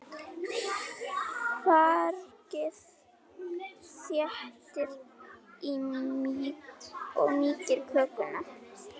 Fargið þéttir og mýkir kökuna.